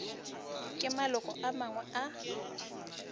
ke maloko a mangwe a